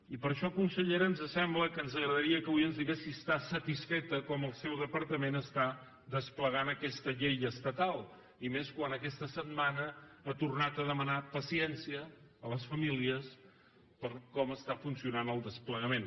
i per això consellera ens sembla que ens agradaria que avui ens digués si està satisfeta com el seu departament està desplegant aquesta llei estatal i més quan aquesta setmana ha tornat a demanar paciència a les famílies per com està funcionant el desplegament